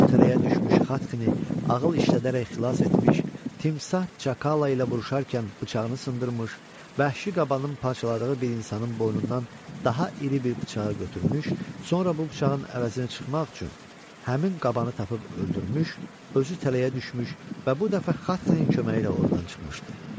O tələyə düşmüş Xatxini ağıl işlədərək xilas etmiş, timsah çakala ilə vuruşarkən bıçağını sındırmış, vəhşi qabanın parçaladığı bir insanın boynundan daha iri bir bıçağı götürmüş, sonra bu bıçağın əvəzini çıxmaq üçün həmin qabanı tapıb öldürmüş, özü tələyə düşmüş və bu dəfə Xatxinin köməyi ilə ordan çıxmışdı.